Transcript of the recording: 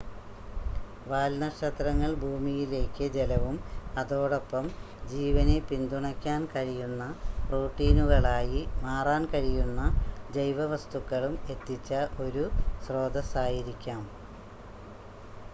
വാൽനക്ഷത്രങ്ങൾ ഭൂമിയിലേക്ക് ജലവും അതോടൊപ്പം ജീവനെ പിന്തുണയ്ക്കാൻ കഴിയുന്ന പ്രോട്ടീനുകളായി മാറാൻ കഴിയുന്ന ജൈവസ്തുക്കളും എത്തിച്ച ഒരു സ്രോതാസ്സായിരിക്കാം